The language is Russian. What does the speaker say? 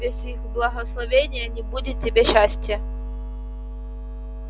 без их благословения не будет тебе счастья